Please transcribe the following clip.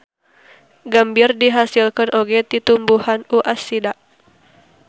Gambir dihasilkeun oge ti tumbuhan U. acida.